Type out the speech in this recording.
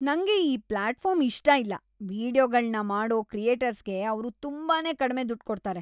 ನಂಗೆ ಈ ಪ್ಲಾಟ್‌ಫಾರ್ಮ್‌ ಇಷ್ಟ ಇಲ್ಲ. ವೀಡಿಯೊಗಳ್ನ ಮಾಡೋ ಕ್ರಿಯೇಟರ್ಸ್‌ಗೆ ಅವ್ರು ತುಂಬಾನೇ ಕಡ್ಮೆ ದುಡ್ಡ್‌ ಕೊಡ್ತಾರೆ.